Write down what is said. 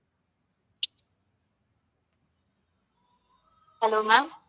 hello ma'am